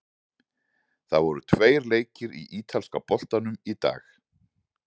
Það voru tveir leikir í ítalska boltanum í dag.